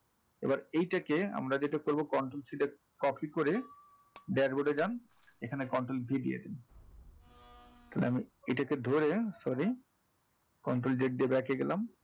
এবার এটাকে আমরা যেটা করবো control select copy করে dashboard এ যান এখানে control V দিয়ে দিন তাহলে আমি এটাকে ধরে sorry control z দিয়ে back এ গেলাম,